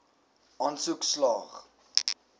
aansoek slaag